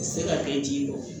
Se ka kɛ ji bɔ